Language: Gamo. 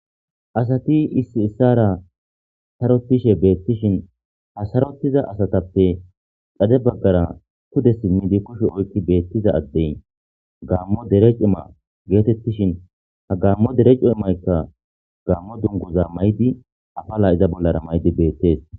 Asati Issi issara sarotishe betishen Ha sarotiza asatape xade bagara pude simidi kushe oykidaki beiza Adey gamo Derek cimma Getetishin Ha gamo dere cimmaykka gamo duguza mayidi apala iza bollara mayidi betese